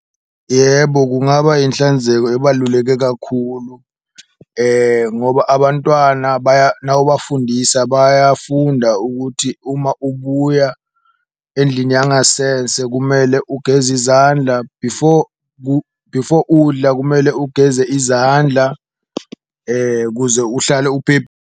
Yebo kungaba inhlanzeko ebaluleke kakhulu ngoba abantwana nawubafundisa bayafunda ukuthi, uma ubuya endlini yangasese kumele ugeze izandla, before before udla kumele ugeze izandla kuze uhlale .